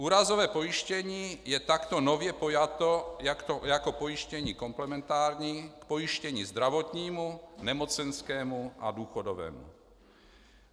Úrazové pojištění je takto nově pojato jako pojištění komplementární k pojištění zdravotnímu, nemocenskému a důchodovému.